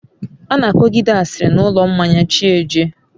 ana akogide asiri n'ulo mmanya chi jie